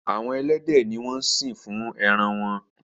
Àwọn elédè ní wón sín fún èràn wón.